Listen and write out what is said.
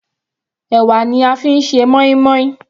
Ẹ̀wà ni a fi ń ṣe moin-moin.